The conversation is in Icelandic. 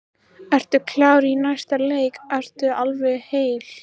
Ertu klár í næsta leik, ertu alveg heill?